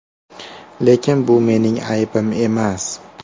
Lekin bu mening aybim emas.